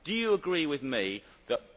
Do you agree with me that